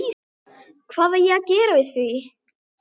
Ísfold, spilaðu lag.